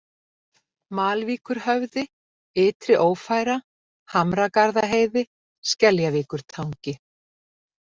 Malvíkurhöfði, Ytriófæra, Hamragarðaheiði, Skeljavíkurtangi